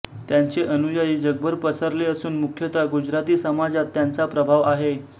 त्यांचे अनुयायी जगभर पसरले असून मुख्यतः गुजराती समाजात त्यांचा प्रभाव आहे